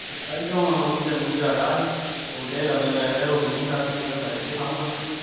ਸੁੱਤਾ ਈ ਆ ਹੁਣ ਓਵੀਂ ਗਰਮੀ ਚ ਆਇਆ ਹੀ ਤੇ ਆਉਂਦੇ ਹੀ ਲੰਮੇ ਪੈ ਗਿਆ, ਰੋਟੀ ਵੀ ਨੀ ਖਾਂਦੀ ਕਹਿੰਦਾ ਠਹਿਰ ਕੇ ਖਾਉਗਾ।